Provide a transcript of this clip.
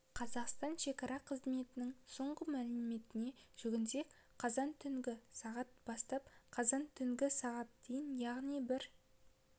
қазақстан шекара қызметінің соңғы мәліметіне жүгінсек қазан түнгі сағат бастап қазан түнгі сағат дейін яғни бір